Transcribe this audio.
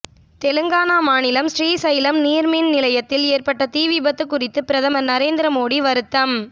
தெலங்கானா மாநிலம் ஸ்ரீசைலம் நீர்மின் நிலையத்தில் ஏற்பட்ட தீவிபத்து குறித்து பிரதமர் நரேந்திர மோடி வருத்தம்